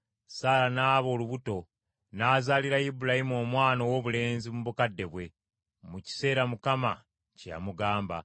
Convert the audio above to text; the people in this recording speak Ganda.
Saala n’aba olubuto, n’azaalira Ibulayimu omwana owoobulenzi mu bukadde bwe, mu kiseera Katonda kye yamugamba.